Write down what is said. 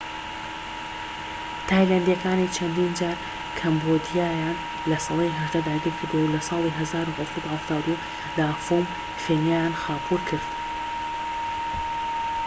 تایلەندیەکانی چەندین جار کەمبۆدیایان لە سەدەی 18 داگیر کردووە و لە ساڵی 1772دا فۆم فێنیان خاپوور کرد